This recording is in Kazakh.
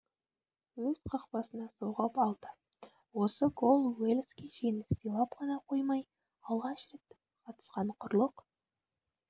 өз қақпасына соғып алды осы гол уэльске жеңіс сыйлап қана қоймай алғаш рет қатысқан құрлық